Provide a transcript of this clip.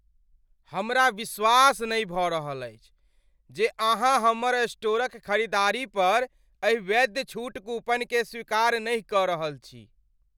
हमरा विश्वास नहि भऽ रहल अछि जे अहाँ हमर स्टोरक खरीदारी पर एहि वैध छूट कूपनकेँ स्वीकार नहि कऽ रहल छी।